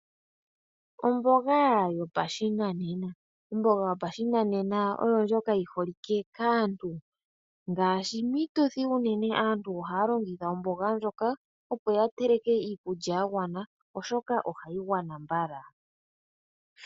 Omboga yopashinanena. Omboga yopashinanena oyo ndjoka yi holike kaantu. Ngaashi piituthi unene aantu ohaya longitha omboga ndjoka, opo yavule okuteleka iikulya yagwana, oshoka ohayi tana nziya.